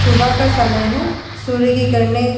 सुबह का समय है। सूर्य की किरणें --